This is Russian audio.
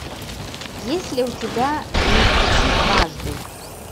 есть ли у тебя не стучи дважды